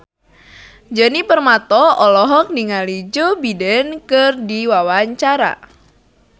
Djoni Permato olohok ningali Joe Biden keur diwawancara